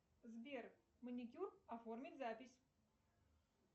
сбер маникюр оформить запись